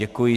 Děkuji.